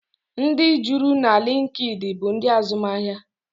Ndị juru na liinkid bụ ndị azụmahịa.